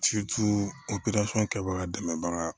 opereli kɛbaga dɛmɛbaga